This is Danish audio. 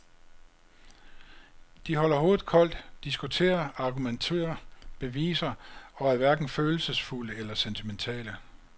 De holder hovedet koldt, diskuterer, argumenterer, beviser og er hverken følelsesfulde eller sentimentale.